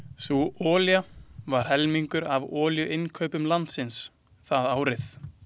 Sú olía var helmingur af olíuinnkaupum landsins það árið.